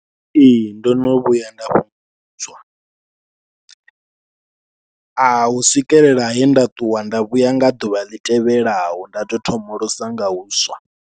Ee ndo no vhuya nda fhungudzwa a hu swikelela he nda ṱuwa nda vhuya nga ḓuvha ḽi tevhelaho nda tou thomolosa nga huswa.